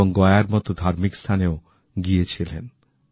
এবং গয়ার মত ধার্মিক স্থানেও গিয়েছিলেন